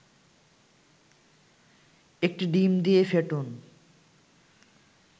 ১টি ডিম দিয়ে ফেটুন